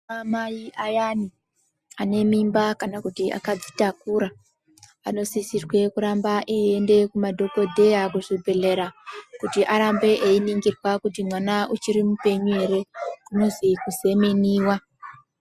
Ana mai ayana anemimba kana kuti akadzitakura, anosisirwa kuramba eyienda kumadhokodheya kuzvibhedhlera kuti arambe eyiningirwa kuti mwana uchiri mupenyu ere kunozi kuzemeniwa.